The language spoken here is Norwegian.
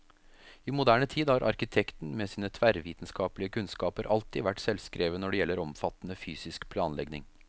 I moderne tid har arkitekten, med sine tverrvitenskapelige kunnskaper, alltid vært selvskreven når det gjelder omfattende fysisk planlegning.